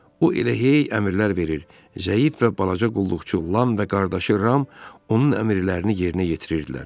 O elə hey əmrlər verir, zəif və balaca qulluqçu Lam və qardaşı Ram onun əmrlərini yerinə yetirirdilər.